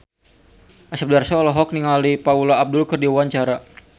Asep Darso olohok ningali Paula Abdul keur diwawancara